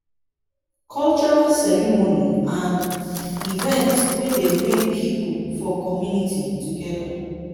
cultural ceremony and events dey bring pipo for community together